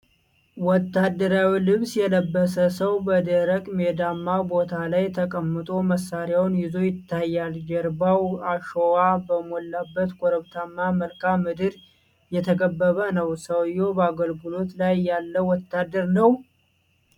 ወታደራዊ ልብስ የለበሰ ሰው በደረቅ ሜዳማ ቦታ ላይ ተቀምጦ መሳሪያውን ይዞ ይታያል። ጀርባው አሸዋ በሞላበት ኮረብታማ መልክዓ ምድር የተከበበ ነው። ሰውዬው በአገልግሎት ላይ ያለ ወታደር ነው?